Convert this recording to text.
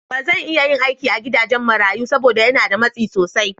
Ba zan iya yin aiki a gidajen marayu saboda yana da matsi sosai.